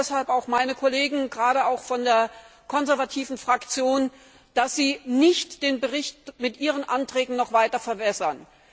Ich bitte deshalb auch meine Kollegen, gerade auch von der konservativen Fraktion, dass Sie nicht den Bericht mit Ihren Anträgen noch weiter verwässern.